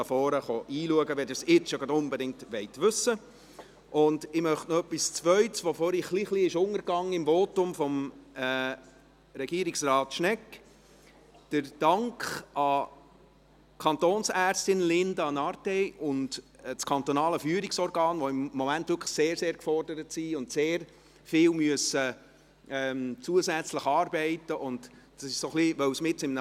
Ich möchte etwas Zweites anbringen, das vorhin ein wenig untergegangen ist, weil es mitten in einem Votum war, im Votum von Regierungsrat Schnegg: den Dank an die Kantonsärztin Linda Nartey und an das Kantonale Führungsorgan (KFO), die im Moment wirklich sehr, sehr gefordert sind und sehr viel zusätzlich arbeiten müssen.